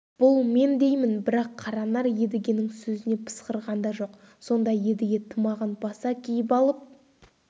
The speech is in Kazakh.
бұл мен деймін бірақ қаранар едігенің сөзіне пысқырған да жоқ сонда едіге тымағын баса киіп алып